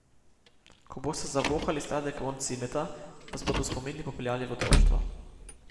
Ko boste zavohali sladek vonj cimeta, vas bodo spomini popeljali v otroštvo.